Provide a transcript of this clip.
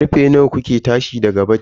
Karfe nawa kuke tashi daga coci?